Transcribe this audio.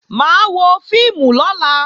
Mà á wọ fíìmù lọ́la